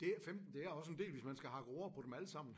Det at 15 det er også en del hvis man skal hakke roer på dem allesammen